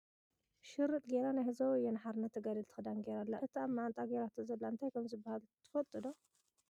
ሽርጥ ገይራ ናይ ህዝባዊ ወያነ ሓርነት ተጋድልቲ ክዳን ገይራ ኣላ ። እቲ ኣብ መዓንጥኣ ገይራቶ ዘላ እንታይ ከም ዝብሃል ትፈልጡ ዶ ?